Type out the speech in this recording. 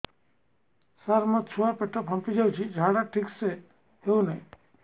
ସାର ମୋ ଛୁଆ ର ପେଟ ଫାମ୍ପି ଯାଉଛି ଝାଡା ଠିକ ସେ ହେଉନାହିଁ